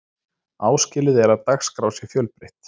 áskilið er að dagskrá sé fjölbreytt